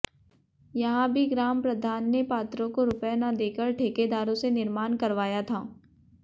यहां भी ग्राम प्रधान ने पात्रों को रुपये न देकर ठेकेदारों से निर्माण करवाया था